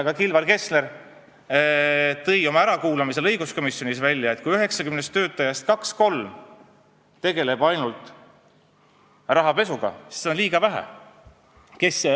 Ka Kilvar Kessler tõi ärakuulamisel õiguskomisjonis välja, et kui Finantsinspektsiooni 90 töötajast ainult kaks-kolm tegelevad rahapesu uurimisega, siis seda on liiga vähe.